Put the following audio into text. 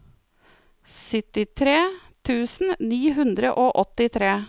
syttitre tusen ni hundre og åttitre